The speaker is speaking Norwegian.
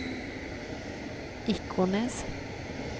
Ikornnes